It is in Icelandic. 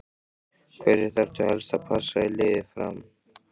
Hverja þarftu helst að passa í liði Fram?